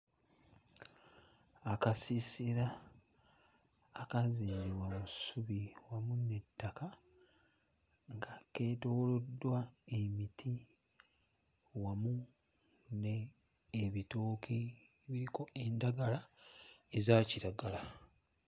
Akasiisira akaazimbibwa mu ssubi wamu n'ettaka nga keetooloddwa emiti wamu ne ebitooke biriko endagala eza kiragala.